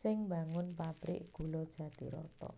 sing mbangun pabrik gula Jatiroto